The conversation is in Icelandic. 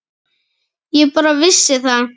Ég bara vissi það.